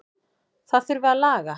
Það þurfi að laga.